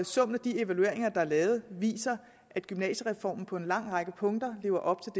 summen af de evalueringer der er lavet viser at gymnasiereformen på en lang række punkter lever op